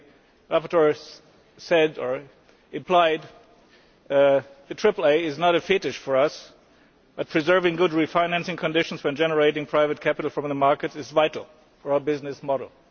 As the rapporteur said, or implied, the AAA is not a fetish for us, but preserving good refinancing conditions when generating private capital from the market is vital for our business model.